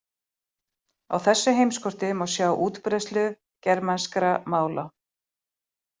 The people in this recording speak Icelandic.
Á þessu heimskorti má sjá útbreiðslu germanskra mála.